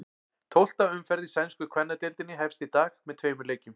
Tólfta umferð í sænsku kvennadeildinni hefst í dag með tveimur leikjum.